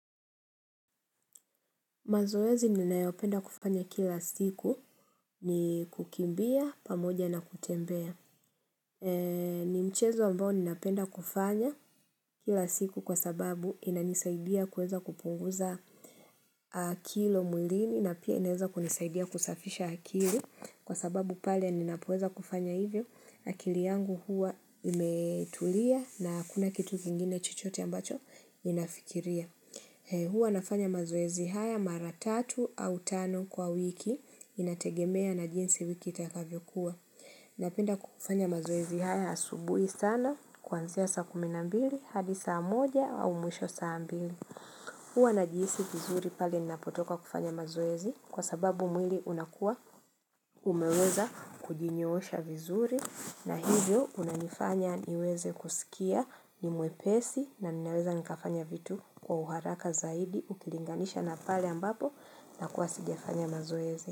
Mazoezi ninayopenda kufanya kila siku ni kukimbia, pamoja na kutembea. Ni mchezo ambao ninapenda kuufanya kila siku kwa sababu inanisaidia kuweza kupunguza kilo mwilini na pia inaweza kunisaidia kusafisha akili kwa sababu pale ninapoweza kufanya hivyo akili yangu huwa imetulia na kuna kitu kingine chochote ambacho ninafikiria. Huwa nafanya mazoezi haya mara tatu au tano kwa wiki inategemea na jinsi wiki itakavyokuwa. Napenda kufanya mazoezi haya asubuhi sana kuanzia saa kumi na mbili hadi saa moja au mwisho saa mbili. Huwa najiisi vizuri pale ninapotoka kufanya mazoezi kwa sababu mwili unakua umeweza kujinyosha vizuri. Na hivyo unanifanya niweze kusikia ni mwepesi na ninaweza nikafanya vitu kwa uharaka zaidi ukilinganisha na pale ambapo nakuwa sijafanya mazoezi.